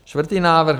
Čtvrtý návrh.